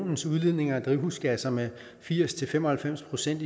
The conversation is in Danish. eus udledning af drivhusgasser med firs til fem og halvfems procent